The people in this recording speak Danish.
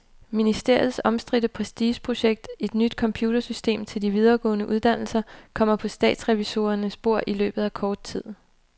Ministeriets omstridte prestigeprojekt, et nyt computersystem til de videregående uddannelser, kommer på statsrevisorernes bord i løbet af kort tid.